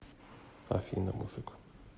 афина мужик